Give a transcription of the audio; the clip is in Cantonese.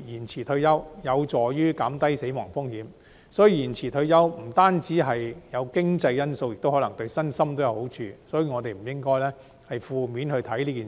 延遲退休有助減低死亡風險，所以延遲退休不單有經濟因素，亦可能對身心有好處，所以我們不應該從負面的角度看待這件事。